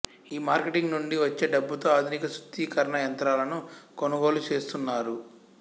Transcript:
ఈ మార్కెటింగ్ నుండి వచ్చే డబ్బుతో ఆధునిక శుద్ధీకరణ యంత్రాలను కొనుగోలు చేస్తున్నారు